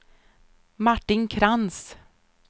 Martin Krantz